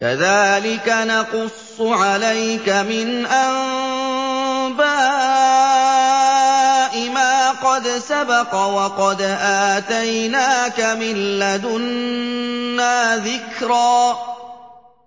كَذَٰلِكَ نَقُصُّ عَلَيْكَ مِنْ أَنبَاءِ مَا قَدْ سَبَقَ ۚ وَقَدْ آتَيْنَاكَ مِن لَّدُنَّا ذِكْرًا